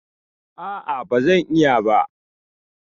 ah ah, bazan iya ba